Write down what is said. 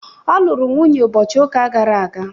ọ lụrụ nwunye ụbọchị ụka gara aga